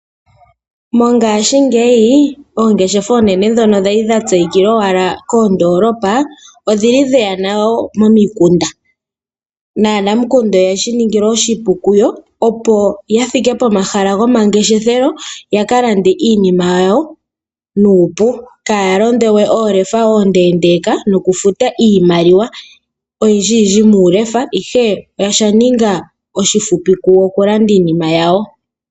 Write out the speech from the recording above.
Mongashingeyi oongeshefa dhoka dhali dha tseyika owala koondolopa, odhili dheya momikunda. Naanamukunda oyeshi ningilwa oshipu kuyo opo ya thike pomahala gomangeshefelo, ya ka lande iinima yawo nuupu. Kaya londe we oolefa oondendeka nokufuta iimaliwa oyindji yindji muulefa, ihe osha ninga oshifupi kuyo okulanda iinima yawo.